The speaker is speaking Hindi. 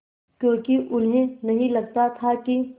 क्योंकि उन्हें नहीं लगता था कि